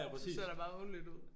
Så ser der meget ordentligt ud